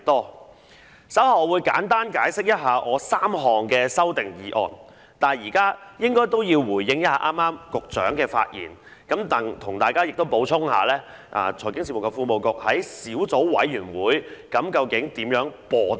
我稍後會簡單解釋我的3項修訂議案，但現在先回應一下局長剛才的發言，亦向大家補充一下財經事務及庫務局在小組委員會如何"播帶"。